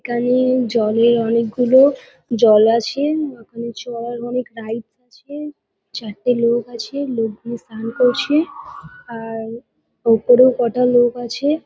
এখানে জলে অনেকগুলো জল আছে ওখানে চড়ার অনেক রাইডস আছে। চারটে লোক আছে। লোকগুলো স্নান করছে আ-আ-র ওপরে কটা লোক আছে।